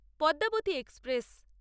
Padmavati express